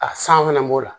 A san fɛnɛ b'o la